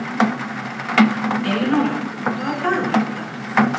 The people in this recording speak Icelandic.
Elenóra, hvaða dagur er í dag?